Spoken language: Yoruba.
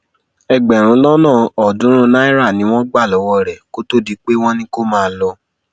ẹgbẹrún lọnà ọọdúnrún náírà ni wọn gbà lọwọ rẹ kó tóó di pé wọn ní kó máa lọ